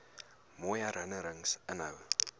mooi herinnerings inhou